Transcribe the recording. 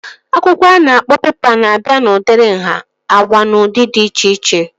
Akwụkwọ a na-akpọ pepa na-abịa n'udiri nhá, agwa na ụdị dị iche iche